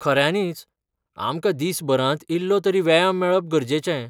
खऱ्यानींच, आमकां दिसभरांत इल्लोतरी व्यायाम मेळप गरजेचें.